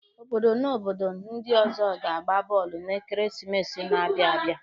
Obodo na obodo ndi ọzọ ga-agba bọọlụ n'ekeresimesi na-abịa abịa.